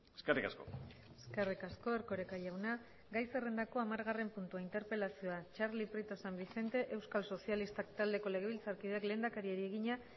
eskerrik asko eskerrik asko erkoreka jauna gai zerrendako hamargarren puntua interpelazioa txarli prieto san vicente euskal sozialistak taldeko legebiltzarkideak lehendakariari egina